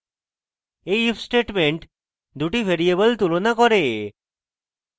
এই if statement দুটি variable তুলনা করে